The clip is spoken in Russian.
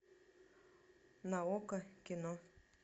на окко кино